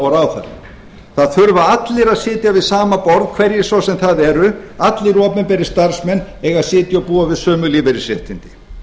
og ráðherra það þurfa allir að sitja við sama borð hverjir svo sem það eru allir opinberir starfsmenn eiga að sitja og búa við sömu lífeyrisréttindi